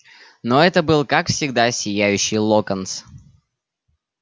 но это был как всегда сияющий локонс